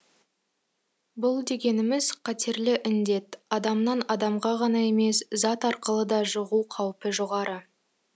бұл дегеніміз қатерлі індет адамнан адамға ғана емес зат арқылы да жұғу қаупі жоғары